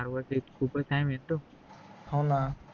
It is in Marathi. हो ना